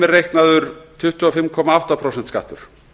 er reiknaður tuttugu og fimm komma átta prósenta skattur